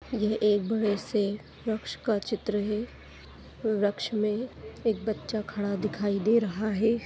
यह एक बड़े से वृक्ष का चित्र है। वृक्ष में एक बच्चा खड़ा दिखाई दे रहा है।